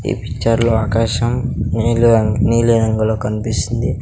ఈ పిక్చర్ లో ఆకాశం నీళ్ల రంగు నీలిరంగులో కనిపిస్తుంది.